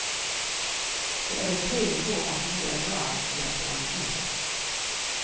Det er et tegn på at noe er galt med plantene.